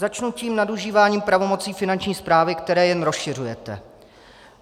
Začnu tím nadužíváním pravomocí Finanční správy, které jen rozšiřujete.